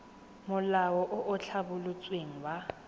molao o o tlhabolotsweng wa